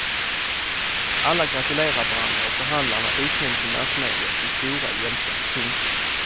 Alla gratulerar varandra och förhandlarna utnämns i massmedia till stora hjältar. punkt